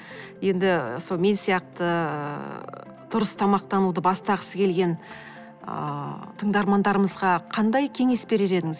енді сол мен сияқты ыыы дұрыс тамақтануды бастағысы келген ыыы тыңдармандарымызға қандай кеңес берер едіңіз